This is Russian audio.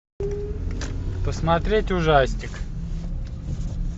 посмотреть ужастик